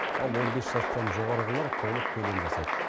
ал он бес жастан жоғарғылар толық төлем жасайды